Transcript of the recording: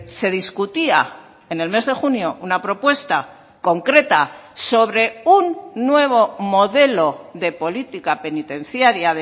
se discutía en el mes de junio una propuesta concreta sobre un nuevo modelo de política penitenciaria